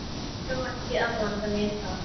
Ég á ekki að blanda mér í það.